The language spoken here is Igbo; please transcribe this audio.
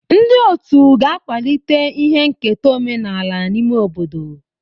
Ndị otu ga-akwalite ihe nketa omenala n'ime obodo.